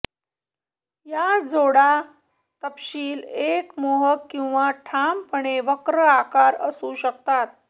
या जोडा तपशील एक मोहक किंवा ठामपणे वक्र आकार असू शकतात